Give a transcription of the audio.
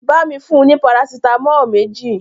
Bámi fún un ní Parasitamọ́ọ̀ méjì!